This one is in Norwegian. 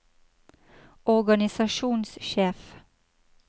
organisasjonssjef